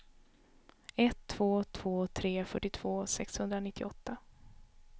ett två två tre fyrtiotvå sexhundranittioåtta